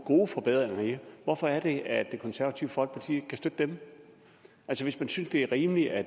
forbedringer i det hvorfor er det at det konservative folkeparti ikke kan støtte dem altså hvis man synes det er rimeligt at